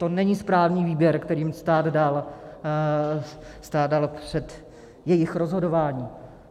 To není správný výběr, který jim stát dal před jejich rozhodováním.